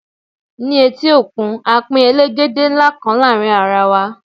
ní eti okun, a Pin elegede nla kan láàrin ara wa